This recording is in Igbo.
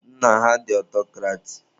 Nna ha dị ọtọcrati.